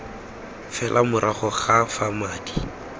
fela morago ga fa madi